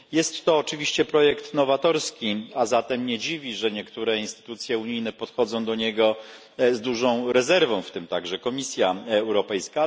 Jest to oczywiście projekt nowatorski, a zatem nie dziwi, że niektóre instytucje unijne podchodzą do niego z dużą rezerwą, w tym także Komisja Europejska.